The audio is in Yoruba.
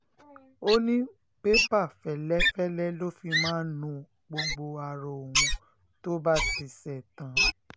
ó ní pépà fẹ́lẹ́fẹ́lẹ́ ló fi máa ń nu gbogbo ara òun tó bá ti ṣẹ̀tàn